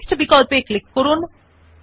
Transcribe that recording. paste option এ click করুন